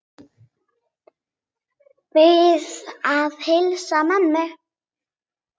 Bið að heilsa mömmu.